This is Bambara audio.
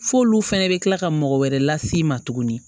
F'olu fɛnɛ bɛ kila ka mɔgɔ wɛrɛ las'i ma tuguni